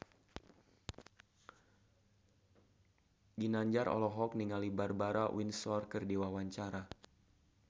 Ginanjar olohok ningali Barbara Windsor keur diwawancara